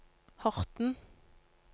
Horten